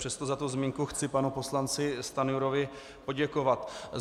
Přesto za tu zmínku chci panu poslanci Stanjurovi poděkovat.